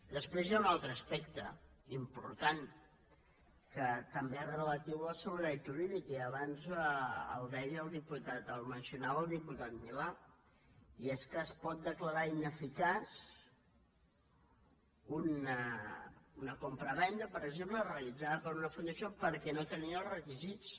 després hi ha un altre aspecte important que també és relatiu a la seguretat jurídica i abans el deia el diputat el mencionava el diputat milà i és que es pot declarar ineficaç una compra·venda per exemple realitzada per una fundació perquè no tenia els requisits